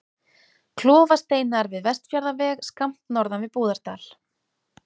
Klofasteinar við Vestfjarðaveg, skammt norðan við Búðardal.